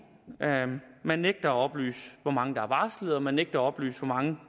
man nægter at oplyse hvor mange der er varslet og man nægter at oplyse hvor mange